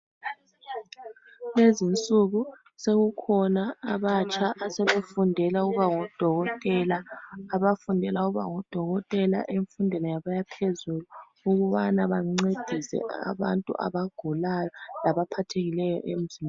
Lezinsuku sekukhona abatsha asebefundela ukuba ngodokotela. Abafundela ukuba ngodokotela emfundweni yabo yaphezulu ukubana bancedise abantu abagulayo labaphathekileyo emzimbeni.